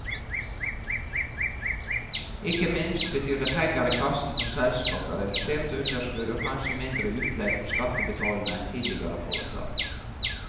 Ikke minst betyr det penger i kassen for selskapet, reduserte underskudd og kanskje mindre utlegg fra skattebetalerne enn tidligere forutsatt.